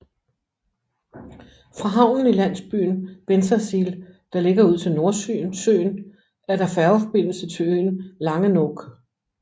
Fra havnen i landsbyen Bensersiel der ligger ud til Nordsøen er der færgeforbindelse til øen Langeoog